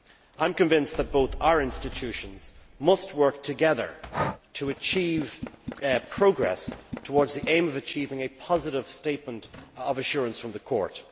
I am convinced that both our institutions must work together to achieve progress towards the aim of achieving a positive statement of assurance from the Court.